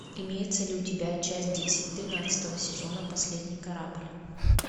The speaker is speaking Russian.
имеется ли у тебя часть десять тринадцатого сезона последний корабль